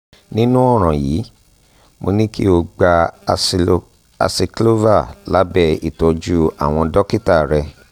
nírú ọ̀ràn yìí mo ní kí o gba acyclovir lábẹ́ ìtọ́jú àwọn dókítà rẹ